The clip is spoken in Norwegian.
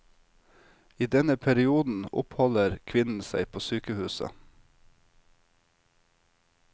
I denne perioden oppholder kvinnen seg på sykehuset.